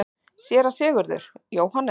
SÉRA SIGURÐUR: Jóhannes?